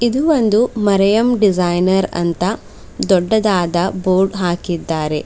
ಇದು ಒಂದು ಮರೆಯಂ ಡಿಸೈನರ್ ಅಂತ ದೊಡ್ಡದಾದ ಬೋರ್ಡ್ ಹಾಕಿದ್ದಾರೆ.